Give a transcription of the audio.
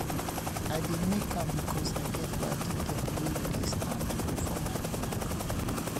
i dey make am because i get paddy dem wey dey stand for my back